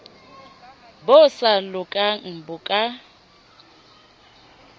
bo sa lokang bo ka